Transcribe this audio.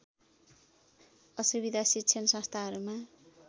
असुविधा शिक्षण संस्थाहरूमा